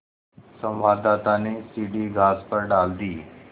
संवाददाता ने सीढ़ी घास पर डाल दी